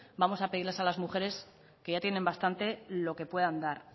vamos a pedirles a las mujeres que ya tienen bastante lo que puedan dar